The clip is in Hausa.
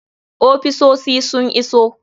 Ofisosi sun iso.